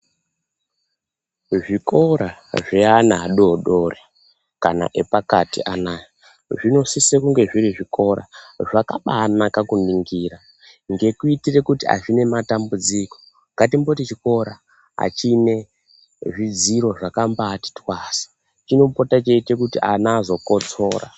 Zvikora zveana adodori kana epakati Anaya zvinosisa kunge zviri zvikora zvakanaka kuningira zvekuitira kuti azvina matambudziko asi kungoti chikora azvina zvidziro zvekubati twasa chinopota cheita kuti ana azokotsora.